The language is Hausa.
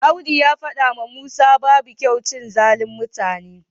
Audu ya faɗawa Musa babu kyau cin zalin mutane.